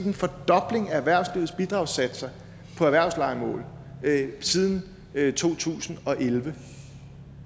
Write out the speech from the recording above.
en fordobling af erhvervslivets bidragssatser på erhvervslejemål siden to tusind og elleve